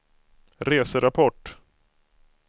reserapport